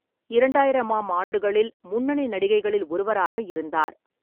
இரண்டாயிரம் ஆம் ஆண்டுகளில் முன்னணி நடிகைகளில் ஒருவராக இருந்தார்.